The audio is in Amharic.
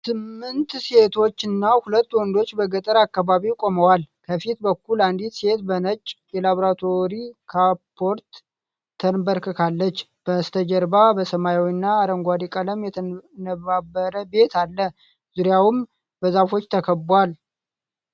ስምንት ሴቶችና ሁለት ወንዶች በገጠር አካባቢ ቆመዋል። ከፊት በኩል አንዲት ሴት በነጭ የላብራቶሪ ካፖርት ተንበርክካለች። በስተጀርባ በሰማያዊና አረንጓዴ ቀለም የተነባበረ ቤት አለ፤ ዙሪያውም በዛፎች ተከቧል።